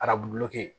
Arabulo kɛ